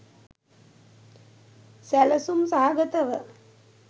සැළසුම් සහගතව